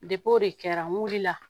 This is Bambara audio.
o de kɛra n wulila